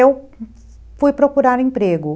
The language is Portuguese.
Eu fui procurar emprego.